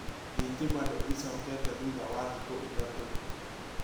Thitima nĩ ĩcokete thutha wa thikũ ithatũ